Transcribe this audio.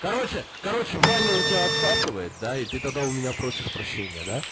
короче короче ваня у тебя отсасывает да и ты тогда у меня просишь прощения да